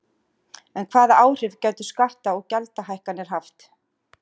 En hvaða áhrif gætu skatta- og gjaldahækkanir haft?